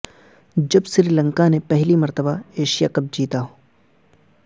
جب سری لنکا نے پہلی مرتبہ ایشیا کپ جیتا